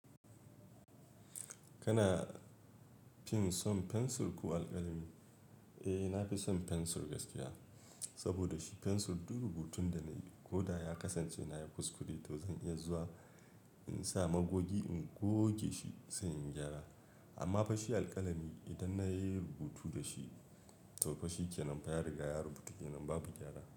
Kana fin son fensur ko alƙalami? Eh, na fi son fensur gaskiya. Saboda shi fensir duk rubutun da nayi koda ya kasanche ammafa shi alƙalami idan nayi rubutu dashi to fa shikenan fa ya riga ya rubutu kenan babu gyara.